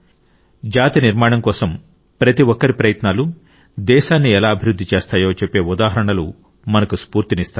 జాతి నిర్మాణం కోసం ప్రతిఒక్కరి ప్రయత్నాలు దేశాన్ని ఎలా అభివృద్ధి చేస్తాయో చెప్పే ఉదాహరణలు మనకు స్ఫూర్తినిస్తాయి